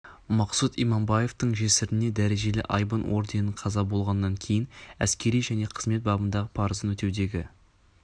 мақсұт иманбаевтың жесіріне дәрежелі айбын орденін қаза болғаннан кейін әскери және қызмет бабындағы парызын өтеудегі